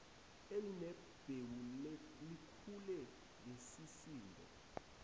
elinembewu likhule ngesisindo